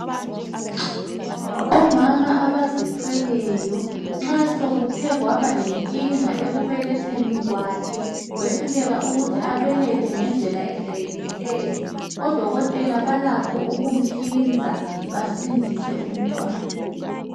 Omama abazithweleyo nxansokuthe kwabalenkinga ekubeletgeni kwakhe wehluleka ukuthi abelethe ngendlela ejwayelekileyo odokotela balakho ukumhlinza basindise umntwana.